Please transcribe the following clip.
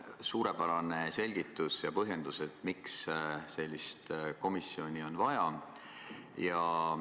Suurepärane selgitus ja põhjendus, miks sellist komisjoni on vaja.